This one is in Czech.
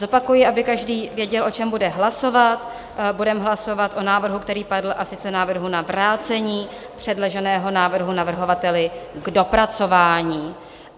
Zopakuji, aby každý věděl, o čem bude hlasovat: budeme hlasovat o návrhu, který padl, a sice návrhu na vrácení předloženého návrhu navrhovateli k dopracování.